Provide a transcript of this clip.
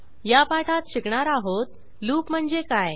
या पाठात शिकणार आहोत लूप म्हणजे काय